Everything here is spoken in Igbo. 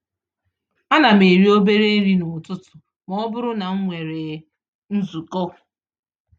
Ánám eri obere nri n'ụtụtụ mọbụrụ na m nwèrè nzukọ